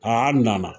Aa nana